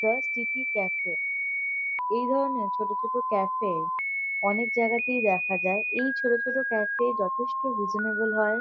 প্রসটিটি cafe এই ধরণের ছোট ছোট ক্যাফে অনেক জায়গাতেই দেখা যায় এই ছোট ছোট ক্যাফে যতেষ্ট রিসনেবল হয়।